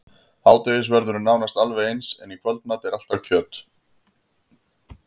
Hádegisverður er nánast alveg eins, en í kvöldmat er alltaf kjöt.